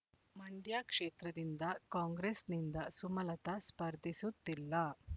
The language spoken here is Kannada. ಮಂಡ್ಯ ಕ್ಷೇತ್ರದಿಂದ ಕಾಂಗ್ರೆಸ್‌ನಿಂದ ಸುಮಲತ ಸ್ಪರ್ಧಿಸುತ್ತಿಲ್ಲ